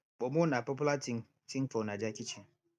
pomo na popular ting ting for naija kitchen